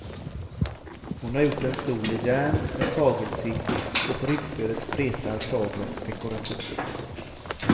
Hon har gjort en stol i järn med tagelsits och på ryggstödet spretar taglet dekorativt.